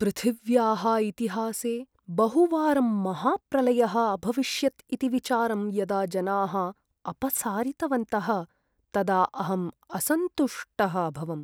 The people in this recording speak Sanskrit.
पृथिव्याः इतिहासे बहुवारं महाप्रलयः अभविष्यत् इति विचारं यदा जनाः अपसारितवन्तः तदा अहं असन्तुष्टः अभवम्।